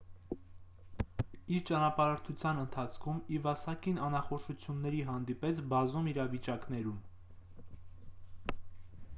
իր ճանապարհորդության ընթացքում իվասակին անախորժությունների հանդիպեց բազում իրավիճակներում